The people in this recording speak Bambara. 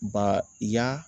Ba i y'a